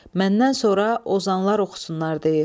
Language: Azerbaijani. Məndən sonra ozanlar oxusunlar deyir.